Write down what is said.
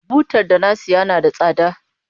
Butar da na taya na da tsada.